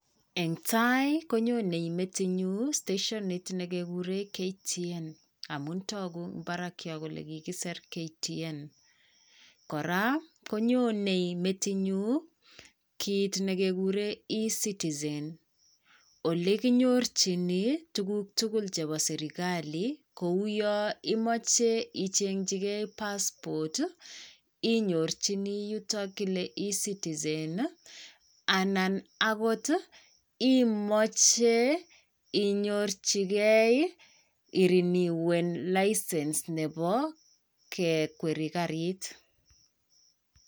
Eng' taai, konyonei metinyun steshonit nekekuren KTN amun toguu barak yon kole kikisir KTN. Koraa, konyonei metinyu kit nekekuren E-Citizen. Ole kinyorjini tuguk tugul chepoo serkali kou yo imoche ichengikee passport inyorjini yuto kile E-Citizen, anan agot imoche inyorjikei irineuwen license nepo kekwerii garit.